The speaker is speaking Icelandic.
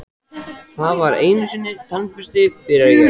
Það var einusinni tannbursti, byrja ég.